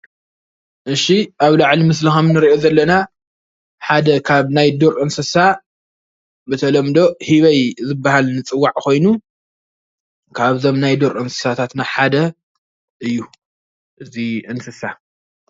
እሺ ኣብ ላዕሊ ምስሊ ከም እንርእዪ ዘለና ሓደ ካብ ናይ ዱር እንስሳ ብተለምዶ ህበይ ዝበሃል ዝፅዋዕ ኮይኑ ካብዞም ናይ ዱር አንስሳታትና ሓደ እዩ እዙይ እንስሳ።